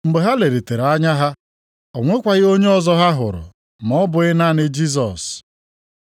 Mgbe ha lelitere anya ha, o nwekwaghị onye ọzọ ha hụrụ ma ọ bụghị naanị Jisọs.